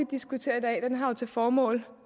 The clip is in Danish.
diskuterer i dag har jo til formål